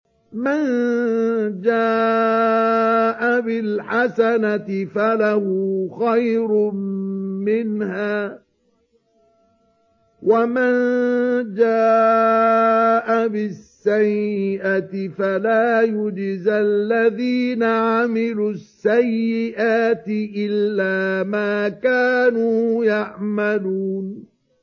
مَن جَاءَ بِالْحَسَنَةِ فَلَهُ خَيْرٌ مِّنْهَا ۖ وَمَن جَاءَ بِالسَّيِّئَةِ فَلَا يُجْزَى الَّذِينَ عَمِلُوا السَّيِّئَاتِ إِلَّا مَا كَانُوا يَعْمَلُونَ